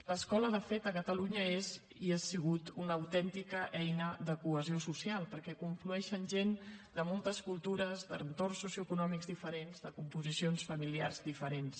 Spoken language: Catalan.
l’escola de fet a catalunya és i ha sigut una autèntica eina de cohesió social perquè hi conflueixen gent de moltes cultures d’entorns socioeconòmics diferents de composicions familiars diferents